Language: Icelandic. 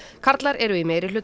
karlar eru í meirihluta